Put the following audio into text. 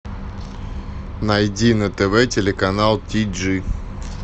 найди на тв телеканал ти джи